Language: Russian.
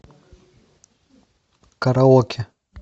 караоке